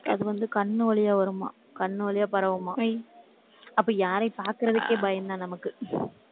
அது வந்து, கண்ணு வழியா வருமாம் கண்ணு வழியா பரவுமாம். அப்போ, யாரையும் பார்க்கிறதுக்கே பயம்தான் நமக்கு.